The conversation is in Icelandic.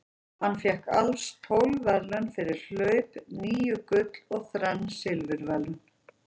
Hann fékk alls tólf verðlaun fyrir hlaup, níu gull og þrenn silfurverðlaun.